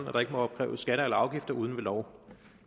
at der ikke må opkræves skatter eller afgifter uden ved lov